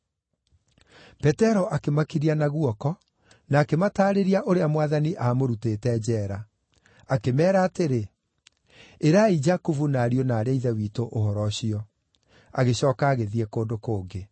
Petero akĩmakiria na guoko na akĩmataarĩria ũrĩa Mwathani aamũrutĩte njeera. Akĩmeera atĩrĩ, “Ĩrai Jakubu na ariũ na aarĩ a Ithe witũ ũhoro ũcio,” agĩcooka agĩthiĩ kũndũ kũngĩ.